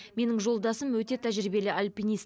менің жолдасым өте тәжірибелі альпинист